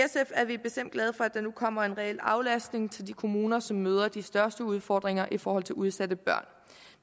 er vi bestemt glade for at der nu kommer en reel aflastning til de kommuner som møder de største udfordringer i forhold til udsatte børn